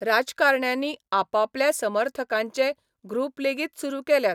राजकारण्यांनी आपापल्या समर्थकांचे ग्रूपलेगीत सुरू केल्यात.